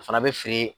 O fana bɛ feere